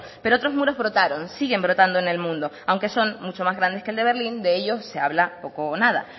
pero otros muros brotaron siguen brotando en el mundo aunque son mucho más grandes que el de berlín de ellos se habla poco o nada